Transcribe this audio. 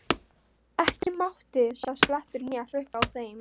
Ekki mátti sjást blettur né hrukka á þeim.